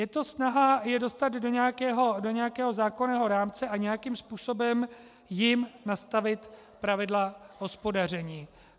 Je to snaha je dostat do nějakého zákonného rámce a nějakým způsobem jim nastavit pravidla hospodaření.